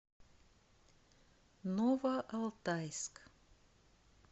новоалтайск